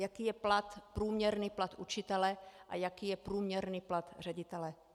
Jaký je průměrný plat učitele a jaký je průměrný plat ředitele.